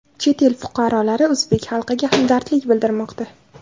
Chet el fuqarolari o‘zbek xalqiga hamdardlik bildirmoqda .